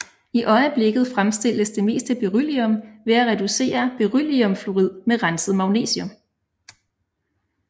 I øjeblikket fremstilles det meste beryllium ved at reducere berylliumfluorid med renset magnesium